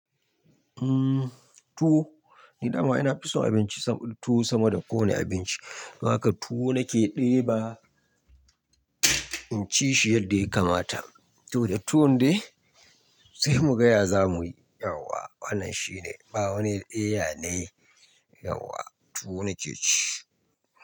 Tuwo, gidanmu ina fi son abinci tuwo sama da kowane abinci. Haka tuwo nake ɗeba, in ci shi yadda ya kamata. To da tuwon dai sai mu gaya za mu yi, yauwa wannan shine, ba wani ɗaya ne yauwa tuwo nake ci.